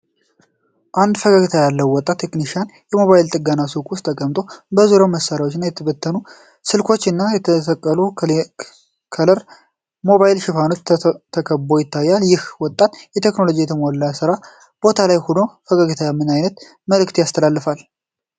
አንድ ፈገግታ ያለው ወጣት ቴክኒሽያን በሞባይል ጥገና ሱቅ ውስጥ ተቀምጦ፣ በዙሪያው መሳሪያዎች፣ የተበተኑ ስልኮች እና በተሰቀሉ ከለር ከለር የሞባይል ሽፋኖች ተከብቦ ይታያል፤ ይህ ወጣት በቴክኖሎጂ የተሞላ የስራ ቦታ ላይ ሆኖ ፈገግታው ምን አይነት መልዕክት ያስተላልፋል?